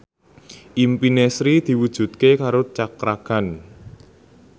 impine Sri diwujudke karo Cakra Khan